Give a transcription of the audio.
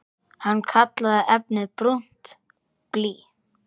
Hann kallaði efnið brúnt blý.